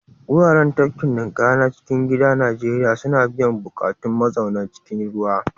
Wuraren tafkin ninƙaya na cikin gida a Najeriya suna biyan buƙatun mazauna cikin ruwa.